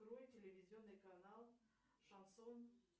открой телевизионный канал шансон